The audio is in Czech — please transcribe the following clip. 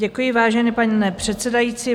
Děkuji, vážený pane předsedající.